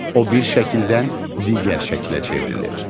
O bir şəkildən digər şəklə çevrilir.